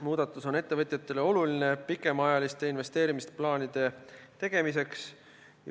Muudatus on ettevõtjatele oluline pikemaajaliste investeerimisplaanide tegemiseks.